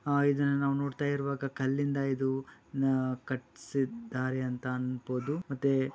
ಆ ಇದುನ್ನ ನಾವ್ ನೋಡ್ತಾ ಇರುವಾಗ ಕಲ್ಲಿಂದ ಇದು ನ ಕಡ್ಸಿದ್ದಾರೆ ಅಂತ ಅನ್ಬೋದು ಮತ್ತೆ